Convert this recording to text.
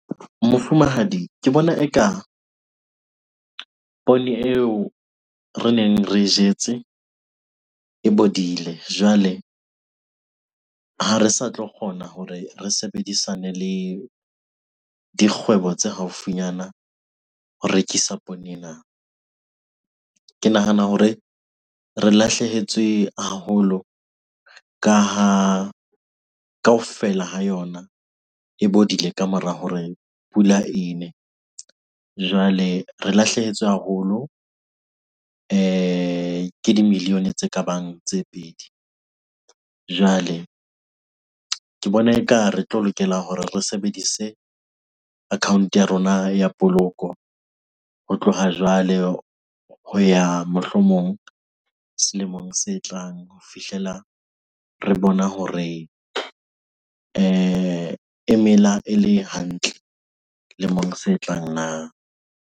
Mofumahadi, ke bona eka poone eo re neng re jetse e bodile. Jwale ha re sa tlo kgona hore re sebedisane le dikgwebo tse haufinyana ho rekisa poone ena. Ke nahana hore re lahlehetswe haholo ka ha kaofela ha yona e bodile ka mora hore pula ene. Jwale, re lahlehetswe haholo ke di-million-e tse kabang tse pedi. Jwale ke bona eka re tlo lokela hore re sebedise account-o ya rona ya poloko ho tloha jwale ho ya, mohlomong selemong se tlang ho fihlela re bona hore e mela e le hantle lemong se tlang na?